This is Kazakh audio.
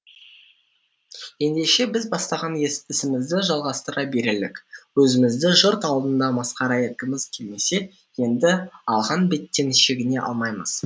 ендеше біз бастаған ісімізді жалғастыра берелік өзімізді жұрт алдында масқара еткіміз келмесе енді алған беттен шегіне алмаймыз